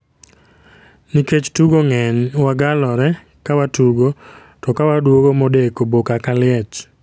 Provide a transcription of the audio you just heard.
Nikech tugo ng'eny wagalore ka watugo, to kawaduogo modeko boka ka liech